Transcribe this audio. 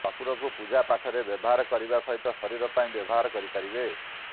କର୍ପୂରକୁ ପୂଜା ପାଠରେ ବ୍ୟବହାର କରିବା ସହିତ ଶରୀର ପାଇଁ ବ୍ୟବହାର କରିପାରିବେ